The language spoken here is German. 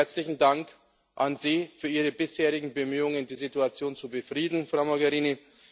Zunächst einmal herzlichen Dank an Sie für Ihre bisherigen Bemühungen, die Situation zu befrieden, Frau Mogherini.